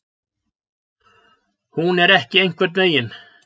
Hún er ekki einhvern veginn.